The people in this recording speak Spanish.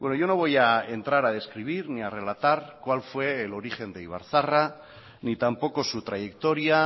yo no voy a entrar a describir ni a relatar cuál fue el origen de ibarzaharra ni tampoco su trayectoria